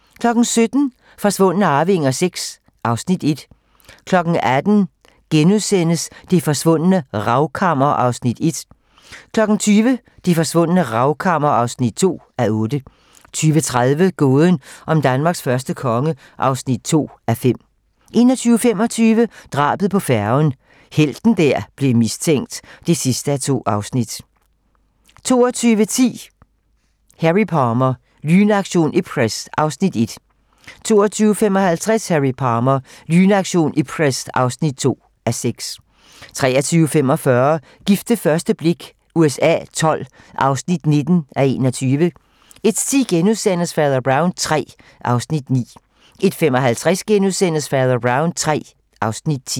17:00: Forsvundne arvinger VI (Afs. 1) 18:00: Det forsvundne Ravkammer (1:8)* 20:00: Det Forsvundne Ravkammer (2:8) 20:30: Gåden om Danmarks første konge (2:5) 21:25: Drabet på færgen - helten der blev mistænkt (2:2) 22:10: Harry Palmer - Lynaktion Ipcress (1:6) 22:55: Harry Palmer - Lynaktion Ipcress (2:6) 23:45: Gift ved første blik USA XII (19:21) 01:10: Fader Brown III (Afs. 9)* 01:55: Fader Brown III (Afs. 10)*